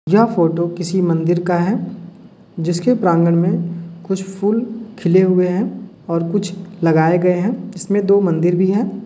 यह फोटो किसी मंदिर का है जिसके प्रांगन में कुछ फूल खिले हुए हैं और कुछ लगाये गये हैं जिसमे दो मंदिर भी है।